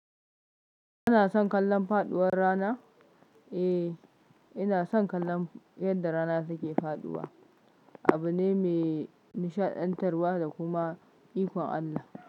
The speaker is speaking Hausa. Kana son kallon faɗuwar rana? Eh, ina son kallon yadda rana suke faɗuwa. Abu ne mai nishaɗantarwa da kuma ikon Allah.